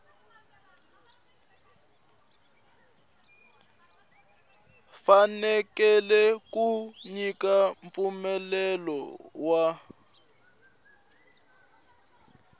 fanekele ku nyika mpfumelelo wa